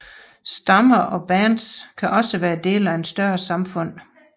Stammer og bands kan også være dele af større samfund